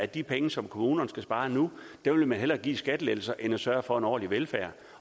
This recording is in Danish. de penge som kommunerne skal spare nu vil man hellere give i skattelettelser end at sørge for en ordentlig velfærd